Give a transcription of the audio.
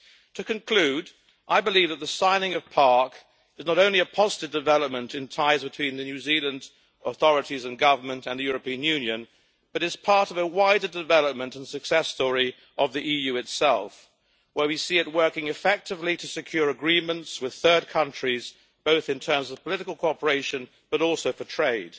To conclude, I believe that the signing of PARC is not only a positive development in ties between the New Zealand authorities and Government, and the European Union, but it is part of a wider development and success story of the EU itself, where we see it working effectively to secure agreements with third countries, both in terms of political cooperation, but also for trade.